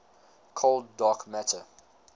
cold dark matter